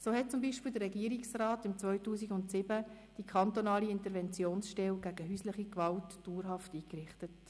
So hat zum Beispiel der Regierungsrat 2007 die kantonale Interventionsstelle gegen häusliche Gewalt dauerhaft eingerichtet.